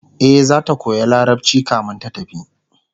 e zata koya larabci kamin ta tafi